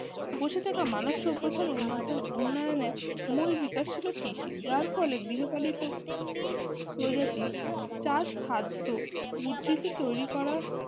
বসে থাকা মানুষ সভ্যতার উন্নত উন্নয়নের মূল বিকাশ ছিল কৃষি যার ফলে গৃহপালিত প্রগতি চাষ খাদ্য উদ্ধৃত তৈরি করা